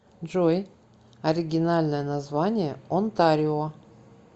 джой оригинальное название онтарио